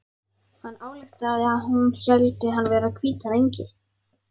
Hann ályktaði að hún héldi hann vera hvítan engil.